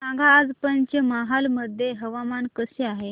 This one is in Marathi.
सांगा आज पंचमहाल मध्ये हवामान कसे आहे